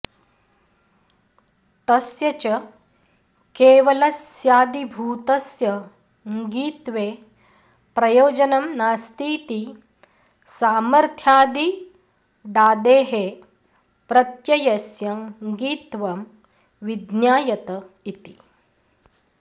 तस्य च केवलस्यादिभूतस्य ङित्वे प्रयोजनं नास्तीति सामथ्र्यादिडादेः प्रत्ययस्य ङित्त्वं विज्ञायत इति